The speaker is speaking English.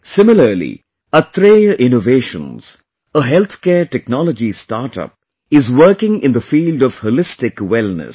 Similarly, Atreya Innovations, a healthcare technology startup, is working in the field of Holistic Wellness